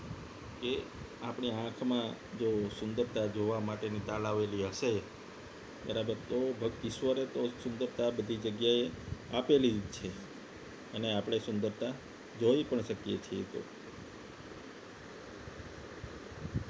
જે આપણી આંખમાં જો સુંદરતા જોવા માટેની તાલાવેલી હશે બરાબર તો બાકી ઈશ્વરે તો સુંદરતા બધી જગ્યાએ આપેલી જ છે અને આપણે સુંદરતા જોઈ પણ શકીએ છીએ